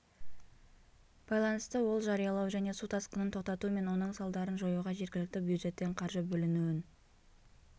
байланысты ол жариялау және су тасқынын тоқтату мен оның салдарын жоюға жергілікті бюджеттен қаржы бөлінуін